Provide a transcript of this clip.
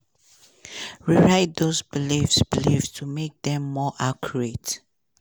rewrite those beliefs beliefs to make dem more accurate.